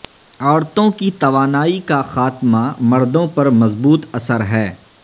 عورتوں کی توانائی کا خاتمہ مردوں پر مضبوط اثر ہے